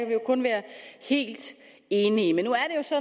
vi jo kun være helt enige men nu